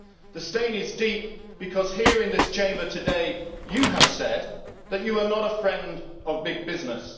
The stain is deep, because here in this Chamber today you have said that you are not a friend of big business